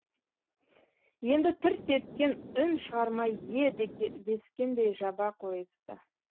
енді тырс еткен үн шығармай е дескендей жаба қойысты